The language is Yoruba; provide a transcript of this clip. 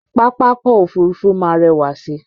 Pápákọ̀ Òfurufú máa rẹwà si